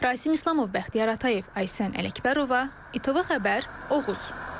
Rasim İslamov, Bəxtiyar Atayev, Aysən Ələkbərova, ITV Xəbər, Oğuz.